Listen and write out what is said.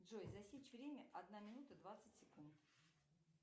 джой засечь время одна минута двадцать секунд